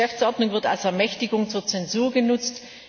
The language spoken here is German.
Die Geschäftsordnung wird als Ermächtigung zur Zensur genutzt!